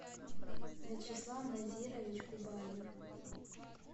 вячеслав назирович кубаев